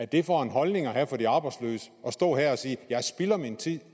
det er for en holdning at have for de arbejdsløse at stå her og sige at jeg spilder min tid